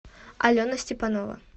алена степанова